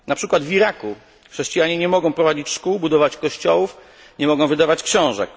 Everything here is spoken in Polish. Na przykład w Iraku chrześcijanie nie mogą prowadzić szkół, budować kościołów ani wydawać książek.